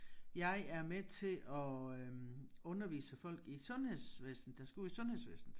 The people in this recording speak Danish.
Jeg er med til at øh undervise folk i sundhedsvæsenet der skal ud i sundhedsvæsenet